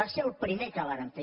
va ser el primer que vàrem fer